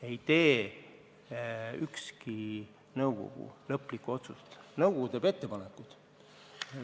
Ei tee ükski nõukogu lõplikku otsust, nõukogu teeb ettepanekud.